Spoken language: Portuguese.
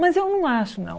Mas eu não acho, não.